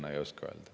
Ma seda ei oska öelda.